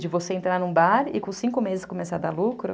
De você entrar num bar e com cinco meses começar a dar lucro.